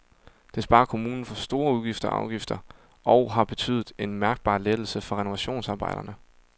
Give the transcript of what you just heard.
Det sparer kommunen for store udgifter og afgifter og har betydet en mærkbar lettelse for renovationsarbejderne.